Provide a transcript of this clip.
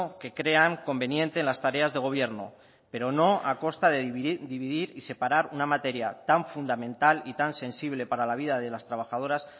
que crean conveniente en las tareas de gobierno pero no a costa de dividir y separar una materia tan fundamental y tan sensible para la vida de las trabajadoras